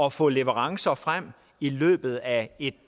at få leverancer frem i løbet af et